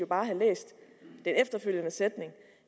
bare læse den efterfølgende sætning